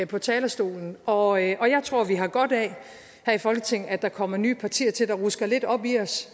på talerstolen og jeg tror at vi har godt af her i folketinget at der kommer nye partier til der rusker lidt op i os